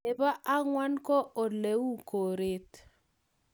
nebo angwan ko oleuu koret